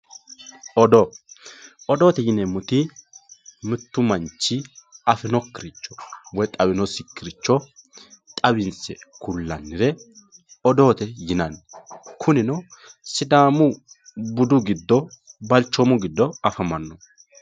Odoo, odoote yineemmoti mitu manchi afinokkiricho woyi xawinosikkiricho xawinse ku'lannire odoote yinanni kunino sidaamu budu giddo balchomu giddo afamano.